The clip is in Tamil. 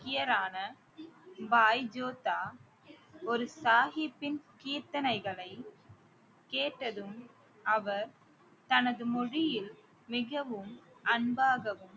சீக்கியரான பாய் ஜோதா ஒரு சாகிப்பின் கீர்த்தனைகளை கேட்டதும் அவர் தனது மொழியில் மிகவும் அன்பாகவும்